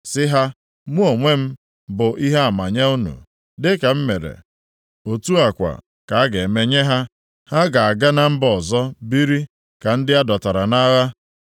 Sị ha, ‘Mụ onwe m bụ ihe ama nye unu.’ “Dịka m mere, otu a kwa ka a ga-eme nye ha. Ha ga-aga na mba ọzọ biri ka ndị a dọtara nʼagha.